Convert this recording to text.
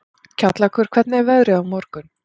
Kjallakur, hvernig er veðrið á morgun?